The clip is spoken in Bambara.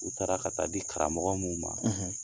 U taara ka taa di karamɔgɔ mun ma